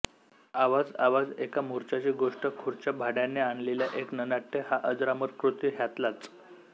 आवाजआवाज एका मोर्चाची गोष्ट खुर्च्या भाड्याने आणलेल्या एक ननाट्य ह्या अजरामरकृती ह्यातल्याच